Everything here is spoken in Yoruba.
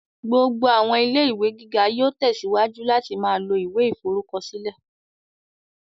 Gbogbo àwọn ilé-ìwé gíga yóò tẹsíwájú láti ma lo ìwé ìforúkọsílẹ̀